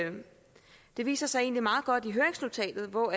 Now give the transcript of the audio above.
det egentlig viser sig meget godt i høringsnotatet hvor